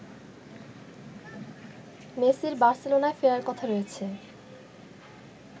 মেসির বার্সেলোনায় ফেরার কথা রয়েছে